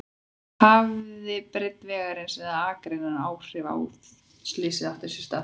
Hafði breidd vegarins eða akreinanna áhrif á að slysið átti sér stað?